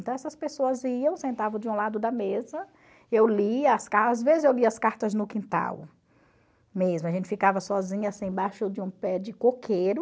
Então essas pessoas iam, sentavam de um lado da mesa, eu lia as às vezes eu lia as cartas no quintal mesmo, a gente ficava sozinha assim embaixo de um pé de coqueiro,